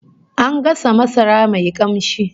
An gasa masara mai kamshi